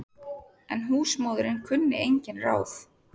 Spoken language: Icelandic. En húsmóðirin kunni engin ráð.